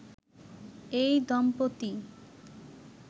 এই দম্পতি